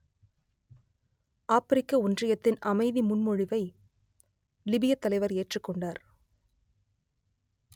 ஆப்பிரிக்க ஒன்றியத்தின் அமைதி முன்மொழிவை லிபியத் தலைவர் ஏற்றுக் கொண்டார்